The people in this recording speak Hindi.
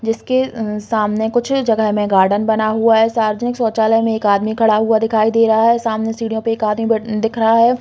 जिसके अ सामने कुछ जगह में गार्डन बना हुआ है। सार्वजनिक शौचालय में एक आदमी खड़ा हुआ दिखाई दे रहा है। सामने सीढ़ियों पे एक आदमी बैठ दिख रहा है।